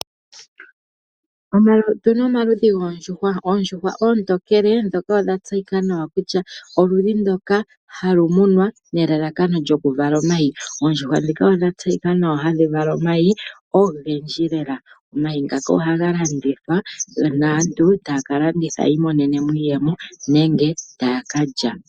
Otu na omaludhi goondjuhwa, oondjuhwa oontokele odha tseyika nawa kutya oludhi ndoka ha lu munwa nelalakano lyokuvala omayi. Oondjuhwa ndhika odha tseyika nawa hadhi vala omayi ogendji lela. Omayi ngaka ohaga landithwa naantu taya ka landitha yi imonene mo iiyemo nenge taya ka lya.